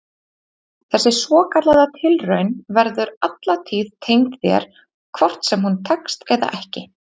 Þessi svokallaða tilraun verður alla tíð tengd þér hvort sem hún tekst eða ekki.